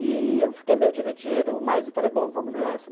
E eu fiquei meio dividido, mas falei, ''bom, vamos nessa.''